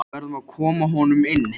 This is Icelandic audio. Við verðum að koma honum inn.